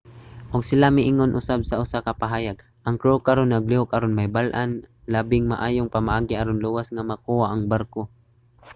ug sila miingon usab sa usa ka pahayag ang crew karon naglihok aron mahibal-an ang labing maayong pamaagi aron luwas nga makuha ang barko